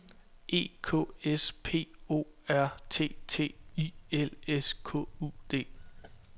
E K S P O R T T I L S K U D